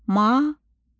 Mala.